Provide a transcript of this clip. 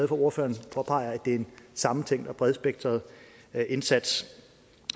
ordføreren påpeger at det er en sammentænkt og bredspektret indsats